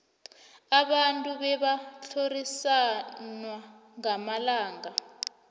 abantu bebatlhorisawa ngamalanga